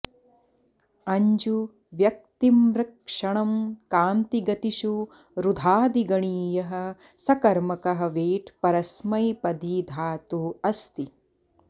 अञ्जू व्यक्तिम्रक्षणं कान्तिगतिषु रुधादिगणीयः सकर्मकः वेट् परस्मैपदी धातुः अस्ति